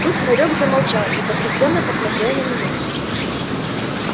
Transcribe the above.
тут хорёк замолчал и потрясенно посмотрел на меня